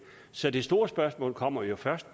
så det store spørgsmål kommer jo først